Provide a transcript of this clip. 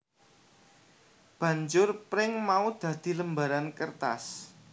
Banjur pring mau dadi lembaran kertas